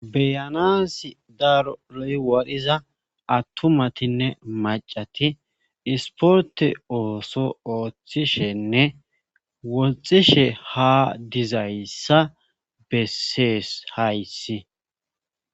Beyanas daaroloy wadhiza attumatinne macati isporte ooso ooththishenne woxishe ha dizayssa bessees hayssi.